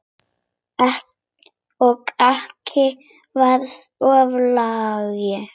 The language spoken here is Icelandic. Og ekki vera of lengi.